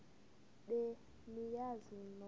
be niyazi nonk